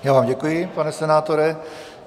Já vám děkuji, pane senátore.